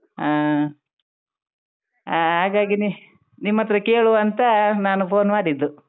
ಹಾ, ಹಾಗಾಗಿನೇ ನಿಮ್ಮತ್ರ ಕೇಳುವಾಂತ ನಾನು phone ಮಾಡಿದ್ದು.